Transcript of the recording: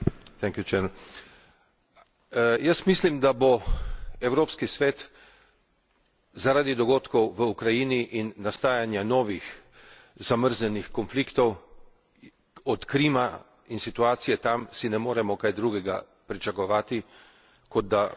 Jaz mislim, da bo Evropski svet zaradi dogodkov v Ukrajini in nastajanja novih zamrznjenih konfliktov, od Krima in situacije tam si ne moremo kaj drugega pričakovati, kot da bomo imeli novo krizno žarišče,